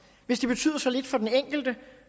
hvis det betyder så lidt for den enkelte